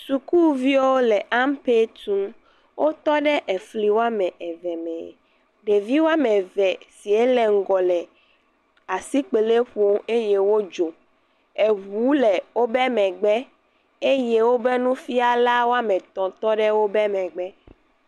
Sukuviwo le ampɛ tum. Wotɔ ɖe efli wɔme eve me. Ɖevi wɔme eve sie le ŋgɔ le asikpeli ƒom eye wodzo. Eŋu le wobe megbe eye wo be nufiala ame etɔ̃ tɔ ɖe wobe megbe.